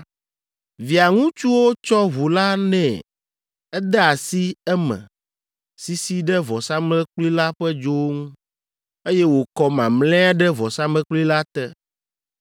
Via ŋutsuwo tsɔ ʋu la nɛ. Ede asi eme, sisii ɖe vɔsamlekpui la ƒe dzowo ŋu, eye wòkɔ mamlɛa ɖe vɔsamlekpui la te.